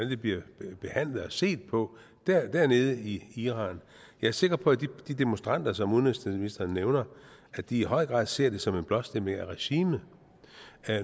det bliver behandlet og set på dernede i iran jeg er sikker på at de demonstranter som udenrigsministeren nævner i høj grad ser det som en blåstempling af regimet